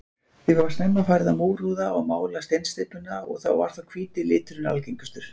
Því var snemma farið að múrhúða og mála steinsteypuna og var þá hvíti liturinn algengastur.